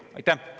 Aitäh!